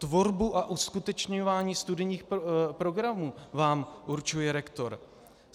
Tvorbu a uskutečňování studijních programů vám určuje rektor.